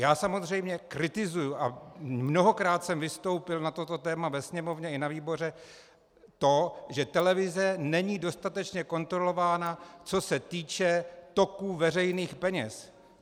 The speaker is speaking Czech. Já samozřejmě kritizuji, a mnohokrát jsem vystoupil na toto téma ve Sněmovně i ve výboru, to, že televize není dostatečně kontrolována, co se týče toků veřejných peněz.